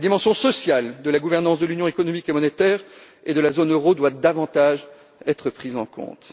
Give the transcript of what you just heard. La dimension sociale de la gouvernance de l'Union économique et monétaire et de la zone euro doit davantage être prise en compte.